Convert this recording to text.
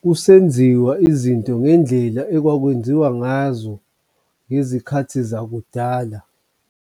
kusenziwa izinto ngendlela okwakwenziwa ngazo ngezikhathi zakudala.